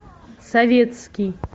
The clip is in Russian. советский